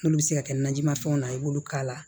N'olu bɛ se ka kɛ najimafɛnw na i b'olu k'a la